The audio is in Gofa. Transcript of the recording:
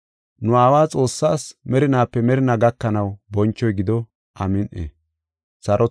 Nu Aawa Xoossaas merinaape merinaa gakanaw bonchoy gido. Amin7i.